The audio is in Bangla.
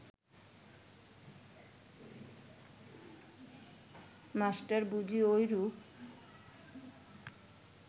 মাষ্টার বুঝি ঐরূপ